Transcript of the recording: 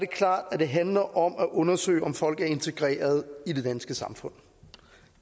klart at det handler om at undersøge om folk er integreret i det danske samfund